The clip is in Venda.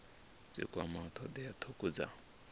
dzi kwamaho thodea thukhu dza